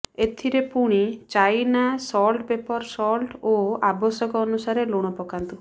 ଏଥିରେ ପୁଣି China salt pepper salt ଓ ଆବଶ୍ୟକ ଅନୁସାରେ ଲୁଣ ପକାନ୍ତୁ